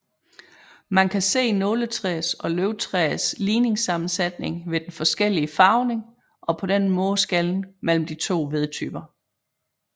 Man kan se nåletræers og løvtræers ligningsammensætning ved den forskellige farvning og på den måde skelne mellem de to vedtyper